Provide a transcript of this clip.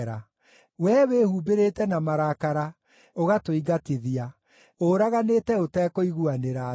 “Wee wĩhumbĩrĩte na marakara, ũgatũingatithia; ũũraganĩte ũtekũiguanĩra tha.